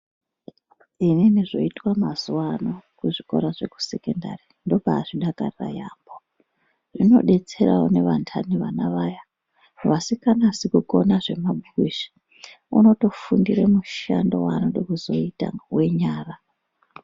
Inini zvoitwa mazuva ano kuzvikora zvesekondari ndombaa zvidakarira yaemho zvinobetsera nevandani vana vaya vasinganasi kukona zvemabhuku izvi unotofundire mushando waanode kutozoita wenyara.